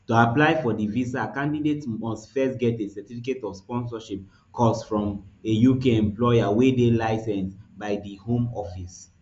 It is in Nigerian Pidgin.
to apply for di visa candidates must first get a certificate of sponsorship cos from a uk employer wey dey licensed by di home office